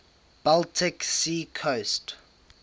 baltic sea coast